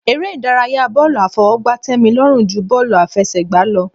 Eré ìdárayá bọ́ọ̀lù àfọwọ́gbá tẹ́mi lọ́rùn ju bọ́ọ̀lù àfẹsẹ̀gbá lọ.